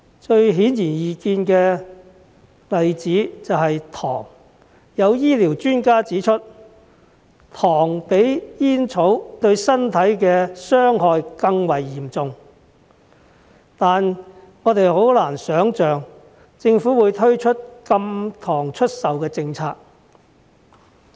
最顯而易見的例子便是糖，有醫療專家指出，糖比煙草對身體的傷害更為嚴重，但我們很難想象，政府會推出禁售糖的政策。